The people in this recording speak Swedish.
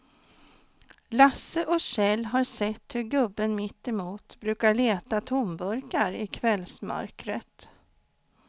Lasse och Kjell har sett hur gubben mittemot brukar leta tomburkar i kvällsmörkret.